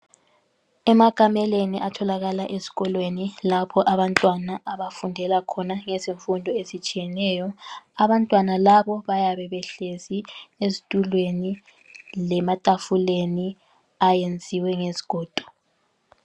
Emakameleni atholakala ezikolweni lapho abantwana abafundela khona ngezifundo ezitshiyeneyo. Abantwana labo bayabe behlezi ezitulweni lematafuleni ayenziwe ngezigodo.